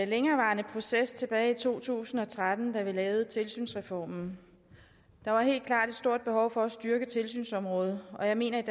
længerevarende proces tilbage i to tusind og tretten da vi lavede tilsynsreformen der var helt klart et stort behov for at styrke tilsynsområdet og jeg mener at